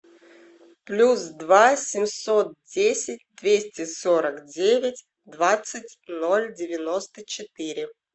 плюс два семьсот десять двести сорок девять двадцать ноль девяносто четыре